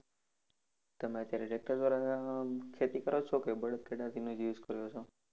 તમે અત્યારે tractor દ્વારા ખેતી કરો છો કે બળદ ગાડાથી ને જ use કરો છો?